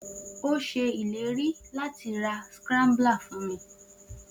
O si se ileri lati ra mi a scrambler.